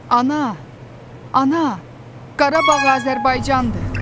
Ana, ana, Qarabağ Azərbaycandır!